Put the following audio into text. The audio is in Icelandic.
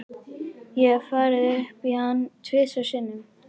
Ég hef farið upp í hann tvisvar sinnum.